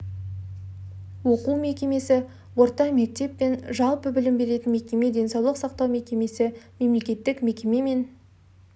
оқу мекемесі орта мектеп мен жалпы білім беретін мекеме денсаулық сақтау мекемесі мемлекеттік мекеме мен